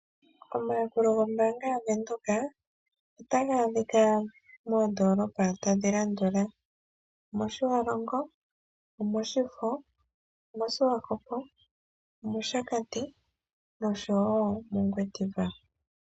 Omayakulo gombaanga yaVenduka otaga adhikwa moondoolopa tadhi landula mOshiwalongo, mOshifo, moSwakopo, mOshakati nosho woo mOngwediva.